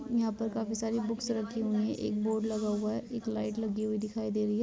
यहाँ पर काफी सारी बुक्स रखी हुई हैं। एक बोर्ड लगा हुआ है एक लाइट लगी हुई दिखाई दे रही है।